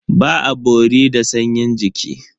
Ba a bori da sanyin jiki.